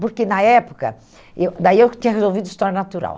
Porque na época, eu daí eu tinha resolvido história natural.